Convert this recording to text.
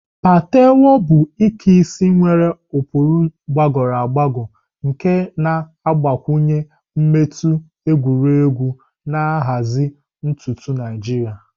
Patewo bụ Ike isi nwere ụkpụrụ gbagoro agbago nke na-agbakwunye mmetụ egwuregwu na nhazi ntutu Naijiria.